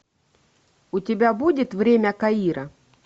у тебя будет время каира